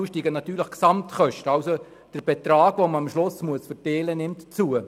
So nimmt der Betrag, den man am Schluss aufteilen muss, zu.